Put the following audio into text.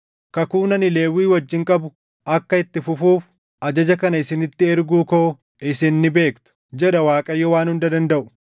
Kakuun ani Lewwii wajjin qabu akka itti fufuuf, ajaja kana isinitti erguu koo isin ni beektu” jedha Waaqayyo Waan Hunda Dandaʼu.